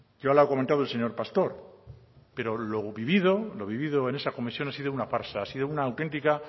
ya lo ha comentado el señor pastor pero lo vivido en esta comisión ha sido una farsa ha sido una auténtica